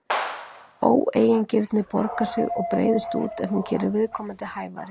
Óeigingirni borgar sig og breiðist út ef hún gerir viðkomandi hæfari.